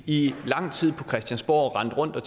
i lang tid på christiansborg rendt rundt og